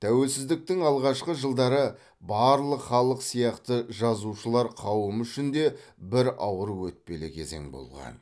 тәуелсіздіктің алғашқы жылдары барлық халық сияқты жазушылар қауымы үшін де бір ауыр өтпелі кезең болған